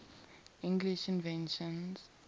english inventions